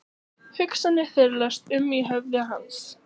Hugsanir þyrlast um í höfði hans.